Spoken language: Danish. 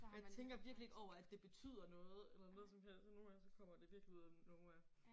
Jeg tænker virkelig ikke over at det betyder noget eller noget som helst og nogle gange så kommer det virkelig ud af nowhere